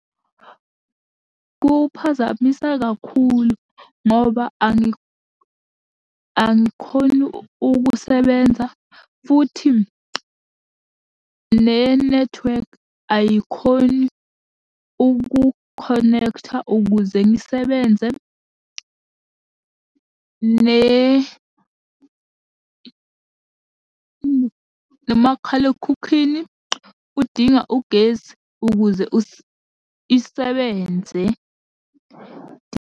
Kuphazamisa kakhulu, ngoba angikhoni ukusebenza futhi nenethiwekhi ayikhoni ukukhonektha ukuze ngisebenze nomakhalekhukhwini udinga ugesi ukuze isebenze.